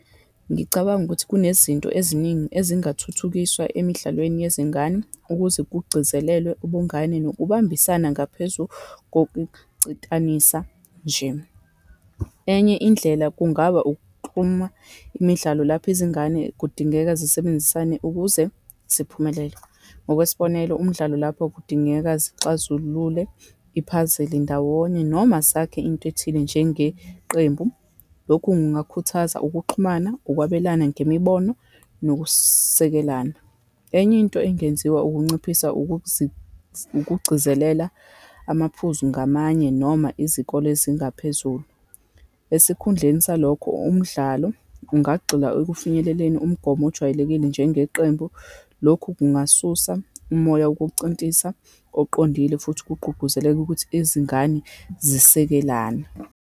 Ngicabanga ukuthi kunezinto eziningi ezingathuthukiswa emidlalweni yezingane, ukuze kugcizelelwe ubungane nokubambisana ngaphezu kokucintanisa nje. Enye indlela, kungaba ukuxhuma imidlalo lapho izingane kudingeka zisebenzisane ukuze ziphumelele. Ngokwesibonelo, umdlalo lapho kudingeka zixazulule i-puzzle ndawonye, noma zakhe into ethile njengeqembu. Lokhu kungakhuthaza ukuxhumana, ukwabelana ngemibono, nokusekelana. Enye into engenziwa, ukunciphisa ukugcizelela amaphuzu ngamanye, noma izikole ezingaphezulu. Esikhundleni salokho, umdlalo ungagxila ekufinyeleleni umgomo ojwayelekile njengeqembu. Lokhu kungasusa umoya wokucintisa oqondile, futhi kugqugquzeleka ukuthi izingane zisekelane.